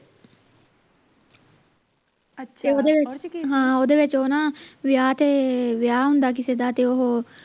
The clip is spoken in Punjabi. ਓਹਦੇ ਓਹਦੇ ਵਿਚ ਉਹ ਨਾ ਵਿਆਹ ਤੇ ਵਿਆਹ ਹੁੰਦਾ ਕਿਸੇ ਦਾ ਓਹੋ